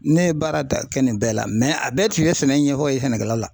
Ne ye baara da kɛ nin bɛɛ la a bɛɛ tun ye sɛnɛ ɲɛfɔ ye sɛnɛkɛla